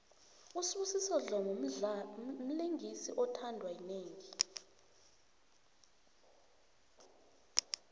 usibusiso dlomo mlingisi othandwa yinengi